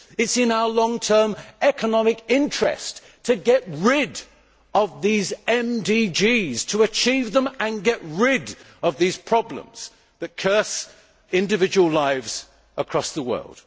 It is in our long term economic interest to get rid of these MDGs, to achieve them and get rid of these problems that curse individual lives across the world.